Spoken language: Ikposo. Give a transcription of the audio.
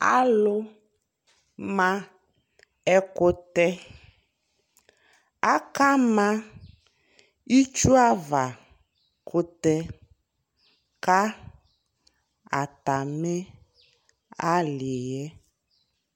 Alu ma ɛkutɛ Aka ma itsu ava kutɛ ka ata mi ali yɛ